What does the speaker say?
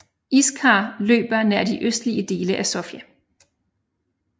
Iskar løber nær de østlige dele af Sofia